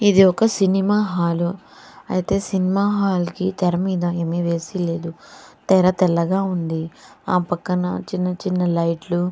ఇది ఒక cinema hall అయితే సినిమా హాల్ కి తేరామీద ఏమి వేసి లేదు తెర తెల్లగా ఉంది ఆ పక్కన లైట్లు --